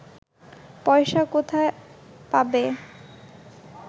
পয়সা কোথায় পাবে